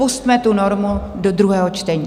Pusťme tu normu do druhého čtení.